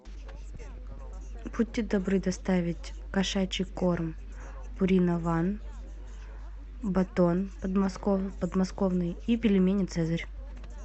будьте добры доставить кошачий корм пурина ван батон подмосковный и пельмени цезарь